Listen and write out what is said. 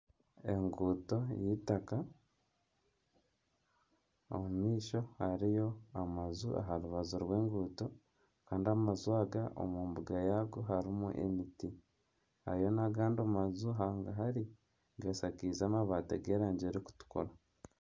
Enguuto z'eitaka omu maisho hariyo amaju aha rubaju rw'enguuto kandi amaju aga omu mbuga yaago harimu emiti hariyo n'agandi maju hangahari gashakaize amabaati g'erangi erikutukura.